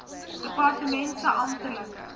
departement se amptelike